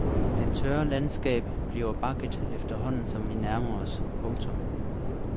Det tørre landskab bliver bakket efterhånden som vi nærmer os. punktum